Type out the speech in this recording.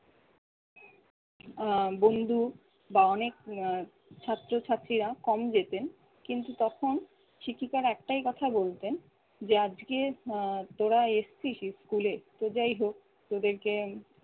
আহ বন্ধু বা অনেক আহ ছাত্রছাত্রীরা কম যেতেন। কিন্তু তখন শিক্ষিকারা একটাই কথা বলতেন যে আজকে আহ তোরা এসেছিস school এ তো যাই হোক তোদেরকে